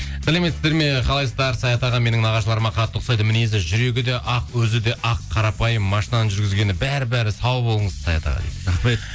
сәлеметсіздер ме қалайсыздар саят аға менің нағашыларыма қатты ұқсайды мінезі жүрегі де ақ өзі де ақ қарапайым машинаны жүргізгені бәрі бәрі сау болыңыз саят аға дейді рахмет